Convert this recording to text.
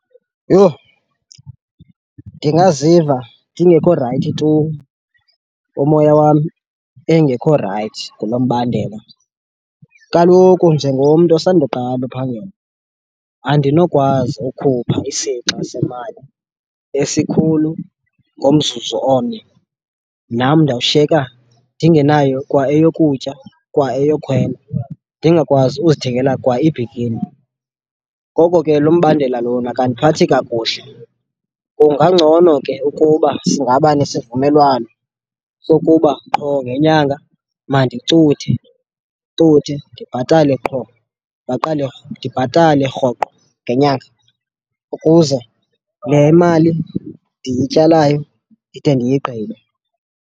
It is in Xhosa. Yho! Ndingaziva ndingekho rayithi tu omoya wam engekho rayithi ngalo mbandela. Kaloku njengomntu osandawuqala uphangela andinokwazi ukhupha isixa semali esikhulu ngomzuzu omnye, nam ndawushiyeka ndingenayo kwa eyokutya, kwa eyokhwela, ndingakwazi uzithengela kwa ibhikini. Ngoko ke lo mbandela lona akandiphathi kakuhle. Kungangcono ke ukuba singaba nesivumelwano sokuba qho ngenyanga mandicuthe, cuthe ndibhatale qho, ndiqale ndibhatale rhoqo ngenyanga, ukuze le mali ndiyityalayo ndide ndiyigqibe.